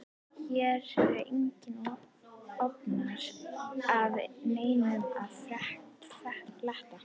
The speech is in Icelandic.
Hér er engu ofan af neinum að fletta.